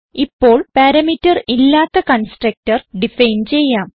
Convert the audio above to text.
ഇപ്പോൾ പാരാമീറ്റർ ഇല്ലാത്ത constructor define ചെയ്യാം